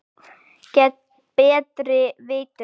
Gegn betri vitund.